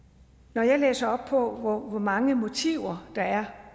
når jeg læser op på hvor mange motiver der er